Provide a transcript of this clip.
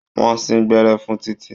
Wọ́n sín gbẹ́rẹ́ fún Títí.